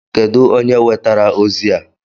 Kedụ onye wetara ozi a?